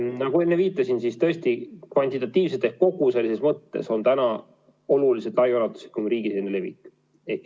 Nagu enne viitasin, tõesti on kvantitatiivselt ehk koguselises mõttes kõige ulatuslikum riigisisene levik.